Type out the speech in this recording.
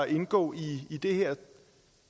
indgå i det her